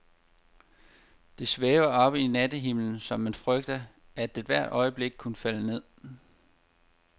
Det svæver oppe i nattehimlen, så man frygter, at det hvert øjeblik kunne falde ned.